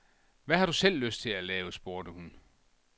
Hvad har du selv lyst til at lave, spurgte hun.